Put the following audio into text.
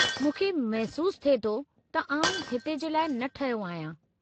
मूंखे महिसूसु थिए थो त आउं हिते जे लाइ न ठहियो आहियां।